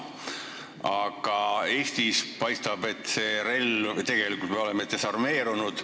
Aga Eestis paistab, et me oleme desarmeerunud.